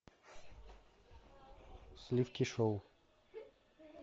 сливки шоу